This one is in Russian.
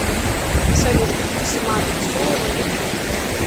салют патимат расулова ютуб